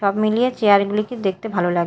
সব মিলিয়ে চেয়ার -গুলিকে দেখতে ভালো লা--